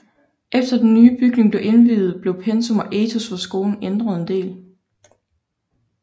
Efter den nye bygning blev indviet blev pensum og etos for skolen ændret en del